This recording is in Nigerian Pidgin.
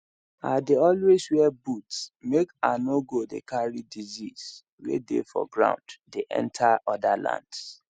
i dey always wear boots make i no go dey carry disease way dey for ground dey enter other lands